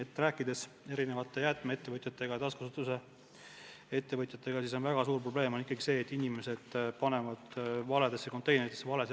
Kui rääkida jäätmeettevõtjatega, taaskasutuse ettevõtjatega, siis selgub, et väga suur probleem on ikkagi see, et inimesed panevad asju valedesse konteineritesse.